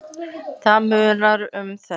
Það munar um þetta.